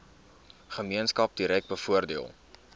gemeenskap direk bevoordeel